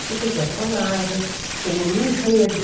Porque tem personagens, tem um enredo.